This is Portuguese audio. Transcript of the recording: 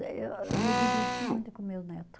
Eu eu me diverti muito com meus neto.